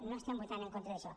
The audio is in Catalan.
no estem votant en contra d’això